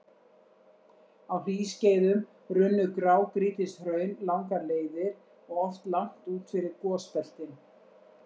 Á hlýskeiðum runnu grágrýtishraun langar leiðir og oft langt út fyrir gosbeltin.